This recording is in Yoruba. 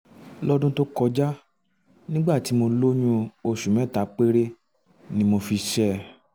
lọ́dún tó kọjá nígbà tí mo lóyún oṣù mẹ́ta péré ni mo fi ṣe é